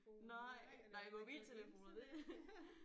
Nej nej mobiltelefoner det